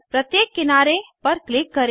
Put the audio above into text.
प्रत्येक किनारे पर क्लिक करें